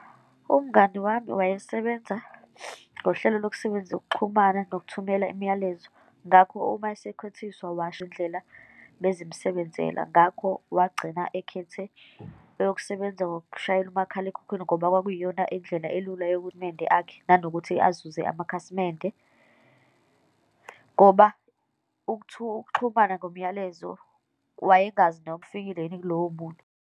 Umngani wami wayesebenza ngohlelo lokusebenza ukuxhumana nokuthumela imiyalezo, ngakho uma isekhwethiswa, washo iy'ndlela bezimsebenzela. Ngakho wagcina ekhethe eyokusebenza ngokushayela umakhalekhukhwini ngoba kwakwiyona indlela elula yokunende akhe, nanokuthi azuze amakhasimende, ngoba ukuxhumana ngomyalezo wayengazi noma ufikile yini kuloyo muntu.